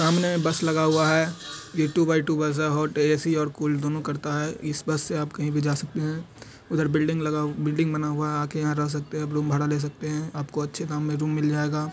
सामने बस लगा हुआ है यह टू बाय टू बस है | होट ए.सी और कुल दोनों करता है इस बस से आप कहीं भी जा सकते हैं उधर बिल्डिंग लगा बिल्डिंग बना हुआ है आप यहां आकर रह सकते हैंरूम भाड़ा ले सकते हैं । आपको अच्छे दाम में रूम मिल जाएगा।